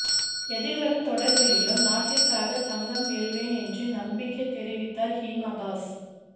எதிர்வரும் தொடர்களிலும் நாட்டிற்காக தங்கம் வெல்வேன் என்று நம்பிக்கை தெரிவித்தார் ஹீமா தாஸ்